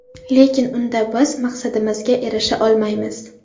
Lekin unda biz maqsadimizga erisha olmaymiz.